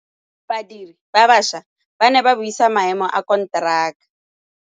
Badiri ba baša ba ne ba buisa maêmô a konteraka.